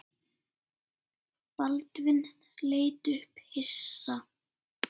Baldvin leit upp hissa.